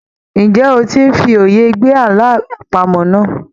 Ǹjẹ́ o ti ń fi òye gbé àlọ́ àpamọ̀ náà?